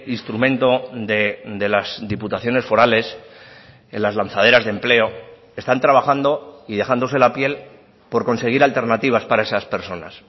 instrumento de las diputaciones forales en las lanzaderas de empleo están trabajando y dejándose la piel por conseguir alternativas para esas personas